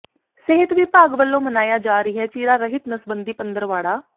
ਸਿਹਤ ਵਿਭਾਗ ਵੱਲੋਂ ਮਨਾਇਆ ਜਾ ਰਿਹੈ ਚੀਰਾ ਰਹਿਤ ਨਸਬੰਦੀ ਪੰਦਰਵਾੜਾ